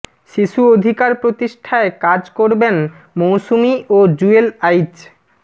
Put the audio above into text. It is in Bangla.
শিশু অধিকার প্রতিষ্ঠায় কাজ করবেন মৌসুমী ও জুয়েল আইচ